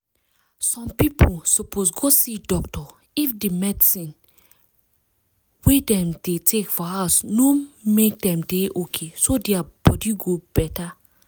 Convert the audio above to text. people suppose go see doctor if the medicine wey dem dey take for house no make dem dey okayso dia body go better